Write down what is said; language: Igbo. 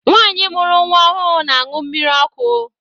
Nwanyi mụrụ nwa ọhụụ n'añu mmírí ọkụ.